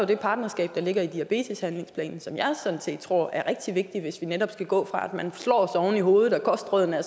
det partnerskab der ligger i diabeteshandlingsplanen som jeg sådan set tror er rigtig vigtigt hvis vi netop skal gå fra at man slået oven i hovedet og at kostrådene er